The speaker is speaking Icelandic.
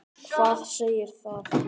Hvað segir það?